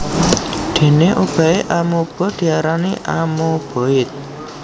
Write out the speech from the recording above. Déné obahé amoeba diarani amoeboid